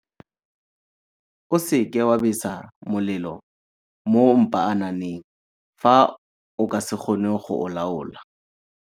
O seka wa besa molelo mo mpaananeng fa o ka se kgone go o laola.